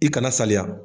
I kana saliya